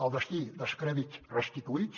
el destí dels crèdits restituïts